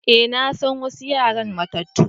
Eh, na san wassu yaran matatu.